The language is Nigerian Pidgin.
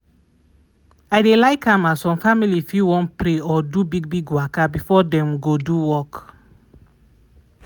i dey like am some family fit wan pray or do big big waka before dem go do work.